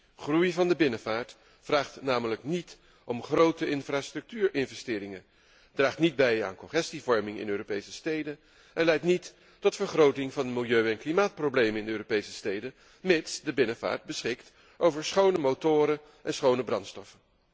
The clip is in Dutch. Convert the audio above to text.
De groei van de binnenvaart vergt namelijk geen grote infrastructuurinvesteringen, draagt niet bij aan congestievorming in de Europese steden en leidt niet tot vergroting van de milieu en klimaatproblemen in de Europese steden, mits de binnenvaart beschikt over schone motoren en schone brandstof.